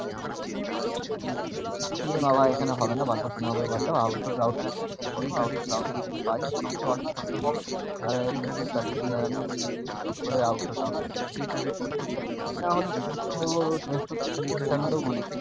কি জানি এখানে হবে না বাদ দাও তুমি out door দাও একটা